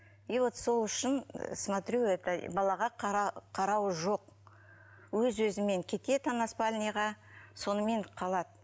и вот сол үшін смотрю это балаға қарау жоқ өз өзімен кетеді ана спальныйға сонымен қалады